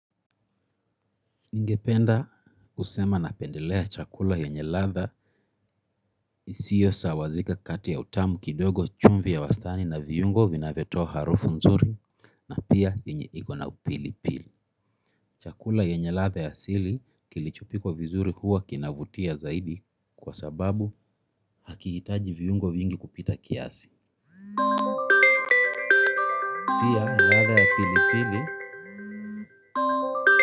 Ningependa kusema napendelea chakula yenye ladha isiyo sawazika kati ya utamu kidogo chumvi ya wastani na viungo vinavyotoa harufu nzuri na pia enye ikona upili pili. Chakula yenye ladha ya asili kilichopwika vizuri huwa kinavutia zaidi kwa sababu hakihitaji viungo vingi kupita kiasi. Pia ladha ya pilipili.